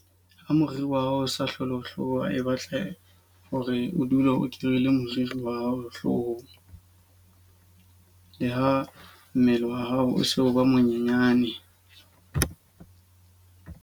Ha moriri wa hao o sa hlole o hloka e batla hore o dule o kirele moriri wa hao hlohong. Le ha mmele wa hao o se o ba monyenyane.